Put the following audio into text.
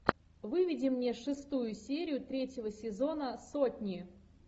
выведи мне шестую серию третьего сезона сотни